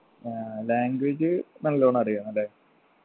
ആ language നല്ലോണം അറിയാ അല്ലെ